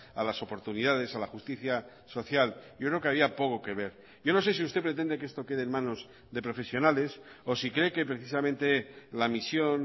a las oportunidades a la justicia social yo creo que había poco que ver yo no sé si usted pretende que esto quede en manos de profesionales o si cree que precisamente la misión